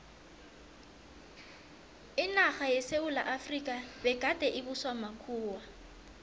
inarha yesewula efrika begade ibuswa makhuwa